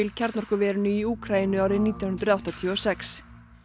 kjarnorkuverinu í Úkraínu árið nítján hundruð áttatíu og sex